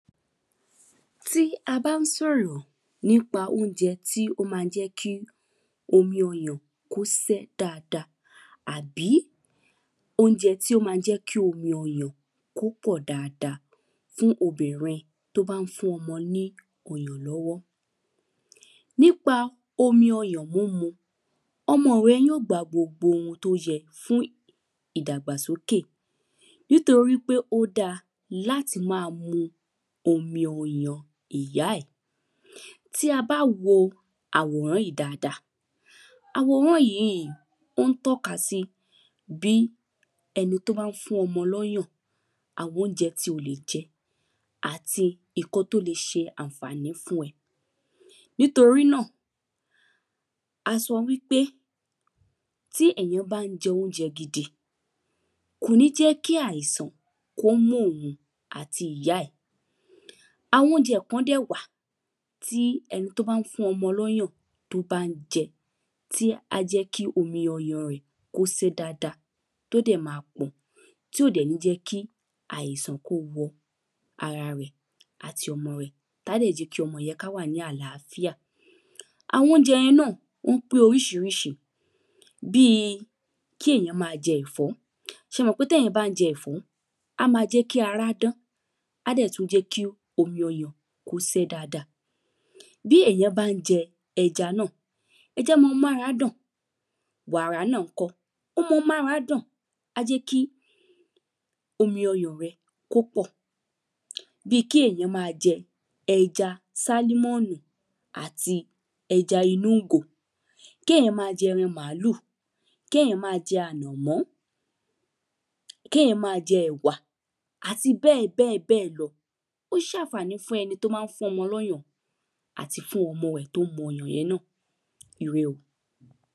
Tí a bá ń sọ̀rọ̀ nípa óúnjẹ tí ó má jẹ́ kí omi ọyàn kó sẹ́ dáada àbí óúnjẹ tí ó má jẹ́ kí omi ọyàn kí ó pọ̀ dáada fún obìnrin tó bá ń fún ọmọ ní ọyàn lọ́wọ́. Nípa omi ọyàn múmu ọmọ rẹ yó gba gbogbo ohun tó yẹ fún ìdàgbàsókè nítorípé ó dá láti má mu omi ọyàn ìyá ẹ̀. Tí a bá wo àwòrán yìí dáada àwòrán yìí ó ń tọ́ka sí bí ẹni tó bá ń fún ọmọ lọ́yàn àwọn óúnjẹ tí o lè jẹ. Nítorí náà a sọ wípé tí èyàn bá ń jẹ óúnjẹ gidi kò ní jẹ́ kí àìsàn kí ó mú òhun àti ìyá ẹ̀. Àwọn óúnjẹ kan dẹ̀ wà tí ẹni tí ó bá ń fún ọmọ lọ́yàn tó bá ń jẹ tí á jẹ́ kí omi ọyàn ẹ̀ kó sé dáada á dẹ̀ má pọ̀ tí ó dẹ̀ ní jẹ́ kí àìsàn kí ó wọ ara rẹ̀ àti ọmọ rẹ̀ á dẹ̀ jẹ́ kí ọmọ rẹ̀ kí ó wà ní àláfíà. Àwọn óúnjẹ yẹn náà wọ́n pé oríṣiríṣi bí kí èyàn má jẹ ẹ̀fọ́ ṣẹ mọ̀ pé téyàn bá ń jẹ ẹ̀fọ́ á má jẹ́ kí ara dán á dẹ̀ tún jẹ́ kí omi ọyàn kí ó sẹ́ dáada. Bí èyàn bá ń jẹ ẹja náà ẹja má ń mára dán wàrà náà ńkọ́ ó má ń mára dán á jẹ́ kí omi ọyàn rẹ kó pọ̀. Bí kí èyàn má jẹ ẹ̀ja sálmọ̀nì àti eja inú ìgò. Kéyàn má jẹ ẹran màálù kéyàn má jẹ ànàmọ́ kéyàn má jẹ ẹ̀wà àti bẹ́ẹ̀ bẹ́ẹ̀ lọ ó ń ṣànfàní fún ẹni tó bá ń fọ́mọ lọ́yàn àti fún ọmọ tó ń mọyàn yẹn náà ire o.